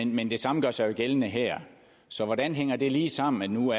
men det samme gør sig jo gældende her så hvordan hænger det lige sammen når nu